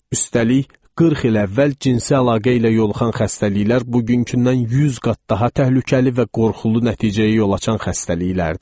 Üstəlik, 40 il əvvəl cinsi əlaqə ilə yoluxan xəstəliklər bugünküdən 100 qat daha təhlükəli və qorxulu nəticəyə yol açan xəstəliklərdir.